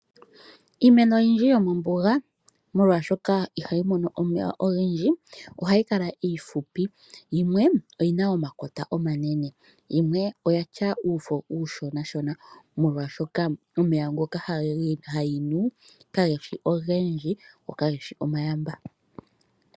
Iimeno oyindji yomombuga molwaashoka ihayi mono omeya ogendji ohayi kala iifupi yimwe oyina omakota omanene yimwe oyatya uufo uushona molwaashoka omeya ngoka hayi nu kageshi omayamba.